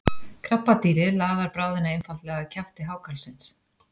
krabbadýrið laðar bráðina einfaldlega að kjafti hákarlsins